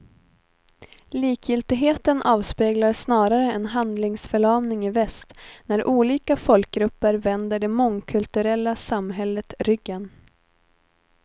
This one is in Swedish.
Likgiltigheten avspeglar snarare en handlingsförlamning i väst när olika folkgrupper vänder det mångkulturella samhället ryggen.